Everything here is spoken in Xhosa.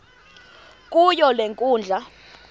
kuyo le nkundla